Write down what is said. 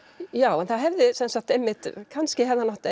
já en það hefði sem sagt einmitt kannski hefði hann átt